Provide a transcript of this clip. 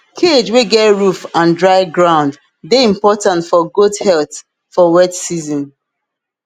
cage wey get roof and dry ground dey important for goat health for wet season